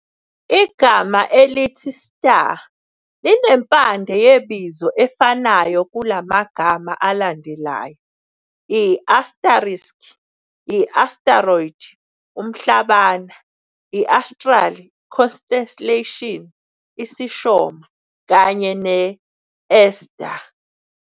Igama elithi "Star" linempande yebizo efanayo kulamagama alandelayo- i-asterisk, i-asteroid, umHlabana, i-astral, iconstellation, isiShomo, kanye ne-Esther.